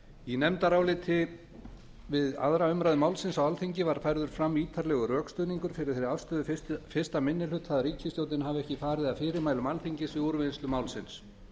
í nefndaráliti við aðra umræðu málsins á alþingi var færður fram ítarlegur rökstuðningur fyrir þeirri afstöðu fyrsti minni hluta að ríkisstjórnin hafi ekki farið að fyrirmælum alþingis við úrvinnslu málsins